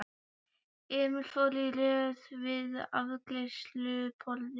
Emil fór í röð við afgreiðsluborðið.